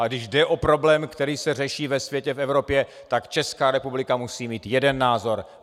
A když jde o problém, který se řeší ve světě, v Evropě, tak Česká republika musí mít jeden názor.